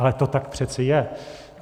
Ale to tak přeci je.